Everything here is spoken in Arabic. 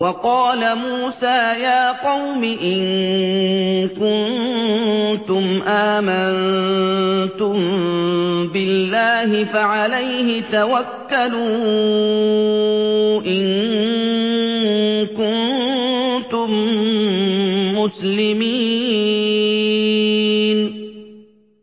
وَقَالَ مُوسَىٰ يَا قَوْمِ إِن كُنتُمْ آمَنتُم بِاللَّهِ فَعَلَيْهِ تَوَكَّلُوا إِن كُنتُم مُّسْلِمِينَ